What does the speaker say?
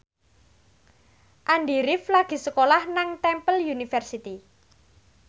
Andy rif lagi sekolah nang Temple University